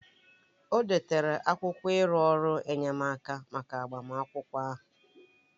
O detara akwụkwọ iru ọrụ enyemaka maka agbamakwụkwọ ahụ